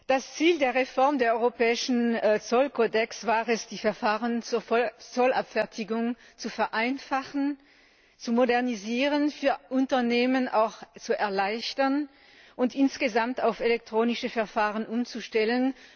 Das Ziel der Reform des europäischen Zollkodex war es, die Verfahren zur Zollabfertigung zu vereinfachen, zu modernisieren, für Unternehmen auch zu erleichtern und insgesamt auf elektronische Verfahren umzustellen.